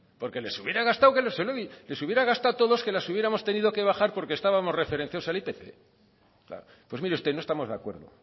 porque les hubiera gustado a todos que les hubiéramos tenido que bajar porque estábamos referenciados al ipc pues mire usted no estamos de acuerdo